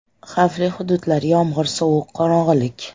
Xavfli hududlar, yomg‘ir, sovuq, qorong‘ilik.